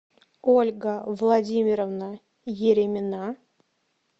ольга владимировна еремина